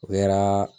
O kɛra